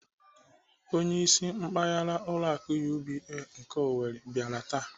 Onyeisi mpaghara ụlọ akụ UBA nke Owerri bịara taa.